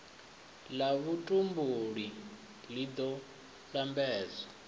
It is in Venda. la vhutumbuli li do lambedza